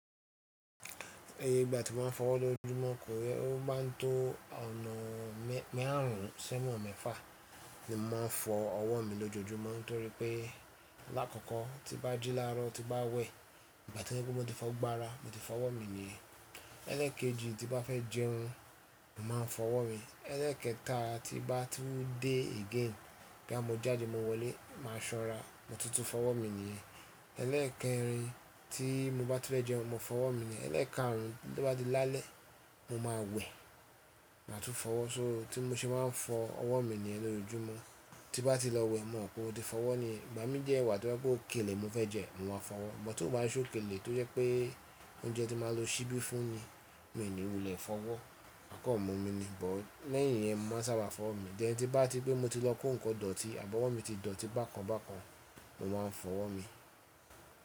Ẹ̀ye ìgbà tí mo máa ń fọwọ́ lọ́júmọ́ kan rẹ, ó má ń tó ọ̀nà màrún sona mẹ́fà ni mo máa ń fọ ọwọ́ mi lọ́jojúmọ́. Nítorí pé làkọ̀kọ́ tí n bá jí lárọ́, tí n bá wẹ̀, ìgbà tó jẹ́ pé mo ti fọ gbogbo ára, mo ti fọwọ́ mi ni yẹn. Ẹlẹ́ẹ̀kejì tí bá fẹ́ jẹun, mo máa fọwọ́ mi. Ẹlẹ́ẹ̀kẹta tí bá tún dé again, bóyá mo jáde mo wọlé, màá ṣan ra, mo tún ti fọwọ́ mi nìyẹn ẹlẹ́ẹ̀kẹrin tí mo bá ti fẹ́ jẹun, mo fọwọ́ mi nìyẹn ẹlẹ́ẹ̀kaàrùn tó bá di lálẹ́, mo máa wé, màá tún fọwọ́ so tí mo ṣe máa ń fọ ọwọ́ mi nìyẹn lọ́jojúmọ́. Tí bá ti lọ wẹ̀, mo mọ̀ pé mó ti fọwọ́ nìyẹn igbámi dẹ wà tó jẹ pé ókèlè mo fẹ́ jẹ, mo máa fọwọ́. But tí ó bá ṣe òkèlè tó jẹ́ pé óúnjẹ ti máa lọ ṣíbí fún ni, mi ni wule fọwọ́, maà kan mọ́ mi ni. Ṣùgbọ́n lẹ́yìn iyẹn, mo máa sábà fọwọ́ mi. Then tí bá ti rí pé mo ti lọ kó nǹkan idọ̀tí, àbí ọ̀wọ́ mi ti dọ̀tí bákan bákan, mo máa ń fọwọ́ mi.